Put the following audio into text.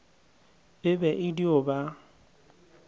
e be e dio ba